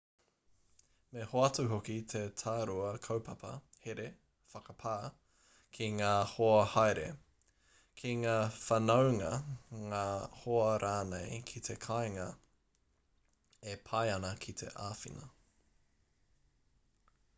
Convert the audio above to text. me hoatu hoki he tārua kaupapa here/whakapā ki ngā hoa haere ki ngā whanaunga ngā hoa rānei ki te kāinga e pai ana ki te āwhina